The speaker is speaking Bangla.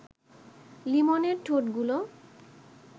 লিমনের ঠোঁটগুলো